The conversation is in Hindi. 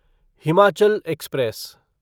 हिमाचल एक्सप्रेस